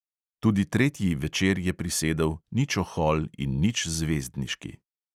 Tudi tretji večer je prisedel, nič ohol in nič zvezdniški.